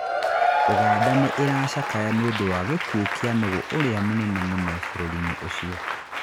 Uganda nĩ ĩracakayaga nĩ ũndũ wa gĩkuũ kĩa nũgũ ũrĩa mũnene mũno bũrũri-inĩ ũcio